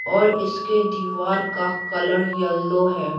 और इसके दीवार का कलर यलो है।